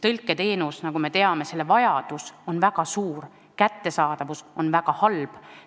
Tõlketeenuse vajadus, nagu me teame, on väga suur, selle kättesaadavus aga väga halb.